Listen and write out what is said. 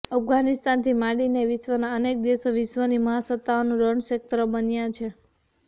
અફઘાનિસ્તાનથી માંડીને વિશ્વના અનેક દેશો વિશ્વની મહાસત્તાઓનું રણક્ષેત્ર બન્યા છે